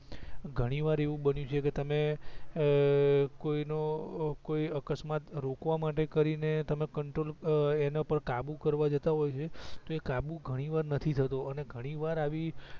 ઘણી વાર એવું બનિયું છે કે તમે અ કોઈ નો કોઈ અકસ્માત રોકવા માટે કરીને તમે કંટ્રોલ એના પર કાબૂ કરવા જતાં હોય છે તો એ કાબૂ ઘણીવાર નથી થતો અને ઘણીવાર આવી